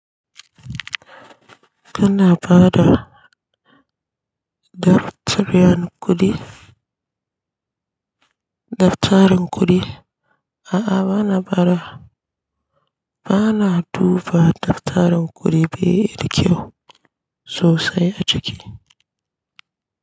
Kana bada dartariyar kuɗi, dattarin kuɗi? A'a bana bada, bana duba dattarin kuɗi bai da kyau sosai a ciki.